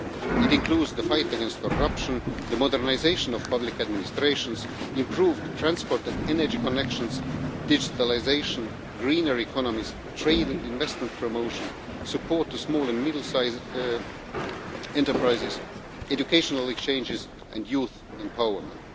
It includes the fight against corruption, the modernisation of public administrations, improved transport and energy connections, digitalisation, greener economies, trade and investment promotion, support for small and middle sized enterprises, educational exchanges and youth empowerment.